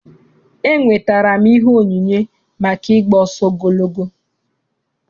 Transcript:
Enwetara m ihe onyinye maka ị gba ọsọ ogologo.